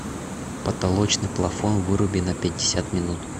потолочный плафон выруби на пятьдесят минут